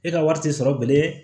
E ka wari tɛ sɔrɔ bilen